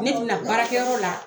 Ne tɛna baarakɛ yɔrɔ la